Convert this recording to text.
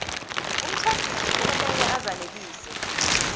umtjhadisi okumele azanelise